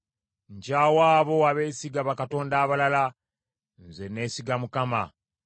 Nkyawa abo abeesiga bakatonda abalala; nze nneesiga Mukama .